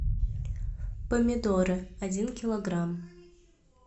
помидоры один килограмм